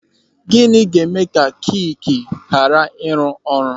Gịnị ga-eme ka kiki ghara ịrụ ọrụ?